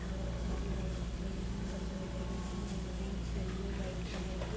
बहोत सारी लाइटस दिखाई देरी हैं बलून दिखाई दे रहे हैं औरेंच येलो व्हाइट कलर के।